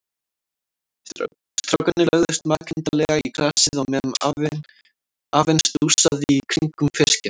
Strákarnir lögðust makindalega í grasið á meðan afinn stússaði í kringum fiskinn.